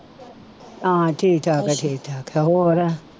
ਹਾਂ ਠੀਕ ਠਾਕ ਆ ਠੀਕ ਠਾਕ ਆ ਹੋਰ